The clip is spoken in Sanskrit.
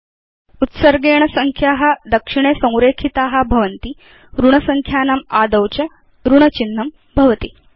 उत्सर्गेण संख्या दक्षिणे संरेखिता भवन्ति ऋणसंख्यानाम् आदौ च ऋणचिह्नं भवति